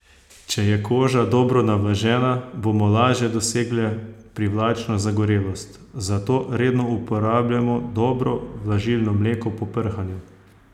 Če je koža dobro navlažena, bomo lažje dosegle privlačno zagorelost, zato redno uporabljajmo dobro vlažilno mleko po prhanju.